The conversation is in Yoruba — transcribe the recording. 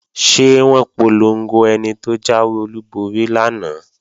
Ṣé wọ́n polongo ẹni tó jáwé olúborí lánàá?